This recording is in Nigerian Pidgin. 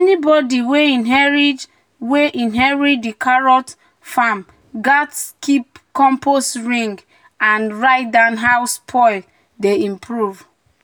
"anybody wey inherit di wey inherit di carrot farm gats keep compost ring um and um write down how soil dey improve." um